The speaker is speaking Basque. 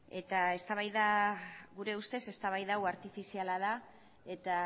eta eztabaida gure ustez eztabaida hau artifiziala da eta